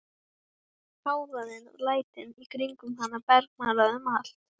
Hávaðinn og lætin í kringum hana bergmálaði um allt.